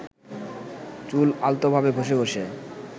চুল আলতোভাবে ঘষে ঘষে